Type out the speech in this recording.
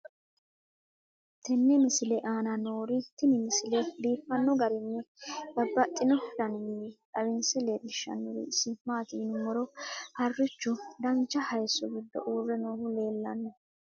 tenne misile aana noorina tini misile biiffanno garinni babaxxinno daniinni xawisse leelishanori isi maati yinummoro harichchu dancha hayiisso giddo uure noohu leelanno